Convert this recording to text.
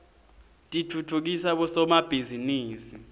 titfutfukisa bosomabhizinisi